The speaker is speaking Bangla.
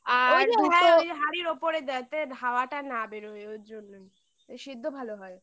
আর দুটো হাঁড়ির ওপরে দেয় তে হাওয়াটা না বেরোয় ওর জন্যই সেদ্ধ ভালো হয়।